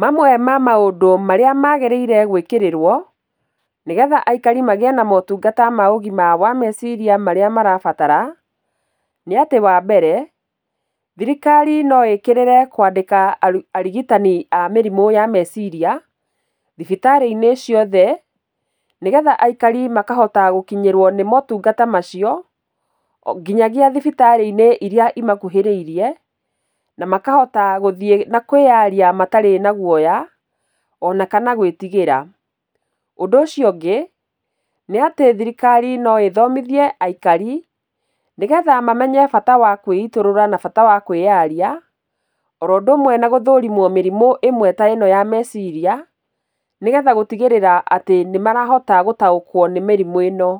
Mamwe ma maũndũ marĩa magĩrĩire gwĩkĩrĩrwo, nĩgetha aikari magĩe na ũtungata wa ũgima wa meciria marĩa marabatara, nĩ atĩ wambere, thirikari noĩkĩrĩre kwandĩka arigitani a mĩrimũ ya meciria thibitarĩ-inĩ ciothe, nĩgetha aikari makahota gũkinyĩrwo nĩ maũtungata macio, onginyagia thibitarĩ-inĩ iria imakuhĩrĩirie, na makahota gũthiĩ na kwĩyaria matarĩ na guaya, ona kana gwĩtigĩra. Ũndũ ũcio ũngĩ, nĩ atĩ thirikari noĩthomithie aikari nĩgetha mamenye bata wa kwĩitũrũra na bata wakwĩyaria, oũndũ ũmwe na gũthũrimwo mĩrimũ ĩmwe ta ĩno ya meciria, nĩgetha gũtigĩrĩra atĩ nĩmarahota gũtaũkwo nĩ mĩrimũ ĩno.